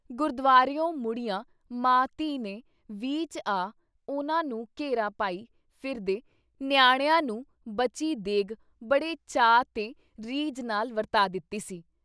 ਗੁਰਦੁਵਾਰਿਓਂ ਮੁੜੀਆਂ ਮਾਂ ਧੀ ਨੇ ਵੀਹ 'ਚ ਆ, ਉਨ੍ਹਾਂ ਨੂੰ ਘੇਰਾ ਪਾਈ ਫਿਰਦੇ ਨਿਆਣਿਆਂ ਨੂੰ ਬਚੀ ਦੇਗ਼ ਬੜੇ ਚਾਅ ਤੇ ਰੀਝ ਨਾਲ ਵਰਤਾ ਦਿੱਤੀ ਸੀ।